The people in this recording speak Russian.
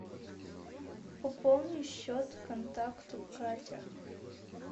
пополни счет контакта катя